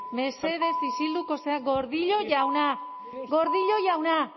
mesedez isilduko zara gordillo jauna gordillo jauna